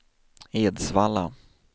Edsvalla